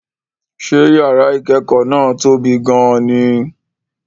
Ṣé yàrá ìkẹ́kọ̀ọ́ náà tóbi gan-an ni?